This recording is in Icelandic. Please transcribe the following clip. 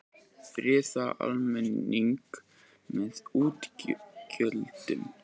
Friða almenning með útgjöldum